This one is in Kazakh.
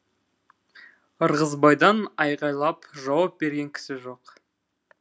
ырғызбайдан айғайлап жауап берген кісі жоқ